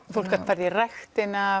fólk gat farið í ræktina